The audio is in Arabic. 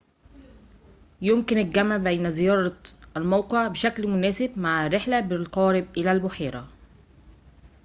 يمكن الجمع بين زيارة الموقع بشكل مناسب مع رحلة بالقارب إلى البحيرة